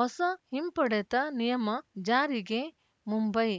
ಹೊಸ ಹಿಂಪಡೆತ ನಿಯಮ ಜಾರಿಗೆ ಮುಂಬೈ